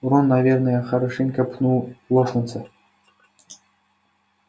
рон наверное хорошенько пнул локонса